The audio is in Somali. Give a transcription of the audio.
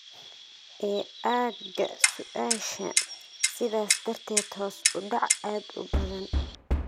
ee aagga su'aasha, sidaas darteed hoos u dhac aad u badan.